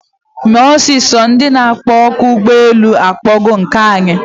Mee ọsịsọ! Ndị na akpọ oku ụgbọ elu akpọgo nke anyị!